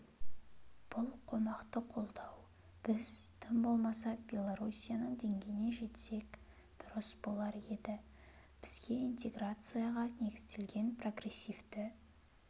бұл қомақты қолдау біз тым болмаса белоруссияның деңгейіне жетсек дұрыс болар еді бізге интеграцияға негізделген прогресивті